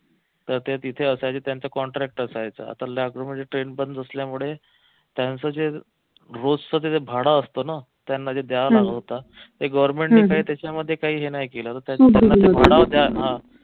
तर ते तिथे असायचे त्यांचं contract असायचं आता लॉकडाऊन मध्ये train पण नसल्यामुळे त्यांचं जे रोजच जे भाडं असत ना त्यांना ते द्यावं लागत होत काही government त्याच्यामध्ये